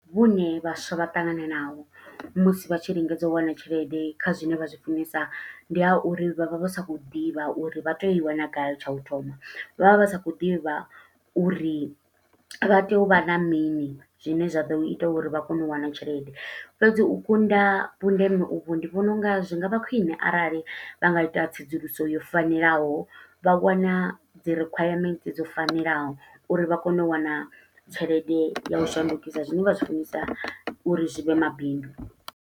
Vhune vhaswa vha ṱangana naho, musi vha tshi lingedza u wana tshelede kha zwine vha zwi funesa. Ndi ha uri vha vha vha sa khou ḓivha uri vha tea u i wana gai tsha u thoma. Vha vha vha sa khou ḓivha uri vha tea u vha na mini, zwine zwa ḓo ita uri vha kone u wana tshelede. Fhedzi u kunda vhundeme uvho ndi vhona unga zwi ngavha khwiṋe arali vha nga ita tsedzuluso yo fanelaho, vha wana dzi rikhwayamenthe dzo fanelaho, uri vha kone u wana tshelede ya u shandukisa zwine vha zwi funesa, uri zwi vhe mabindu.